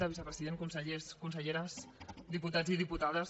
vicepresident consellers conselleres diputats i diputades